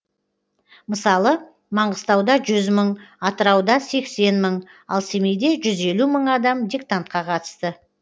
мысалы маңғыстауда жүз мың атырауда сексен мың ал семейде жүз елу мың адам диктантқа қатысты